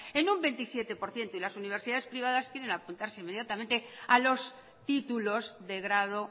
en un veintisiete por ciento y las universidades privadas quieren apuntarse inmediatamente a los títulos de grado